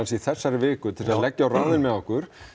í þessari viku til að leggja á ráðin með okkur